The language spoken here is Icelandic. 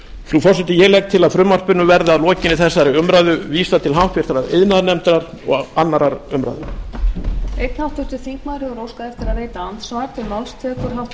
frú forseti ég legg til að frumvarpinu verði að lokinni þessari umræðu vísað til háttvirtrar iðnaðarnefndar og annarrar umræðu